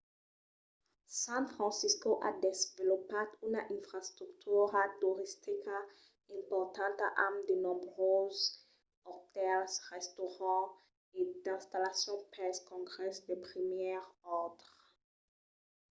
san francisco a desvolopat una infrastructura toristica importanta amb de nombroses otèls restaurants e d'installacions pels congrèsses de primièr òrdre